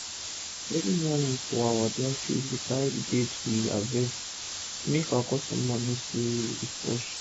everi nylon of our dry fish dey carri the date wey we harvest make our customer know say e fresh